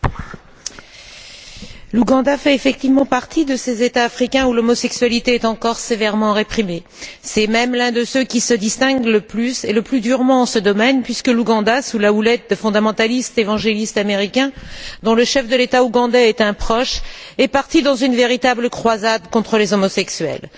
Monsieur le Président, l'Ouganda fait effectivement partie de ces États africains où l'homosexualité est encore sévèrement réprimée. C'est même l'un de ceux qui se distinguent le plus et le plus durement en ce domaine, puisque l'Ouganda, sous la houlette des fondamentalistes évangélistes américains, dont le chef de l'État ougandais est un proche, est parti dans une véritable croisade contre les homosexuels.